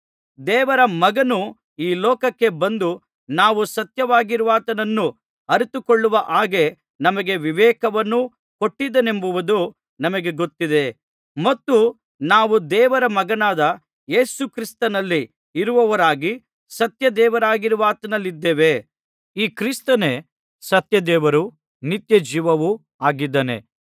ದೇವರ ಮಗನು ಈ ಲೋಕಕ್ಕೆ ಬಂದು ನಾವು ಸತ್ಯವಾಗಿರುವಾತನನ್ನು ಅರಿತುಕೊಳ್ಳುವ ಹಾಗೆ ನಮಗೆ ವಿವೇಕವನ್ನು ಕೊಟ್ಟಿದ್ದಾನೆಂಬುದು ನಮಗೆ ಗೊತ್ತಿದೆ ಮತ್ತು ನಾವು ದೇವರ ಮಗನಾದ ಯೇಸುಕ್ರಿಸ್ತನಲ್ಲಿ ಇರುವವರಾಗಿ ಸತ್ಯದೇವರಾಗಿರುವಾತನಲ್ಲಿದ್ದೇವೆ ಈ ಕ್ರಿಸ್ತನೇ ಸತ್ಯದೇವರೂ ನಿತ್ಯಜೀವವೂ ಆಗಿದ್ದಾನೆ